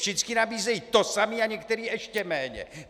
Všechny nabízejí to samé a některé ještě méně.